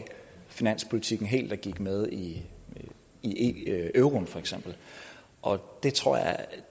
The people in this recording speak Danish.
finanspolitikken helt og gik med i i euroen og det tror jeg